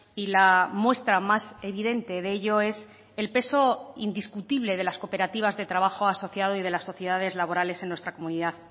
y la muestra más evidente de ello es el peso indiscutible de las cooperativas de trabajo asociado y de las sociedades laborales en nuestra comunidad